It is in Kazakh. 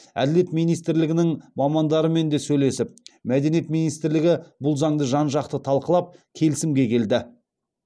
әділет министрлігінің мамандарымен де сөйлесіп мәдениет министрлігі бұл заңды жан жақты талқылап келісімге келді